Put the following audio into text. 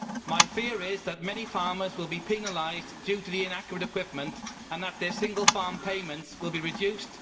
My fear is that many farmers will be penalised due to inaccurate equipment and that their single farm payments will be reduced.